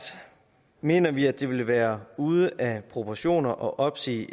mener vi at det ville være ude af proportioner at opsige